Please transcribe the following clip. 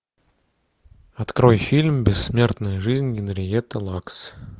открой фильм бессмертная жизнь генриетты лакс